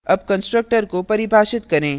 अब constructor को परिभाषित करें